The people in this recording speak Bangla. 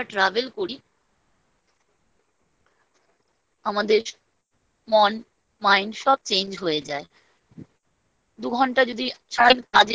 যদি আমরা travel করি। আমাদের মন mind সব change হয়ে যায়। দু ঘণ্টা যদি